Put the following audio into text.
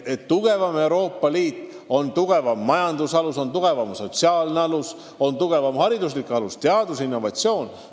Tugevam Euroopa Liit toetub tugevamale majandusele, tugevamale sotsiaal- ja haridussüsteemile, teadustööle ja innovatsioonile.